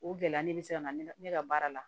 O gɛlɛya nin bɛ se ka na ne ka baara la